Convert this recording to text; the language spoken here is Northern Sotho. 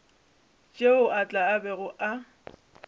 tšeo a tla bego a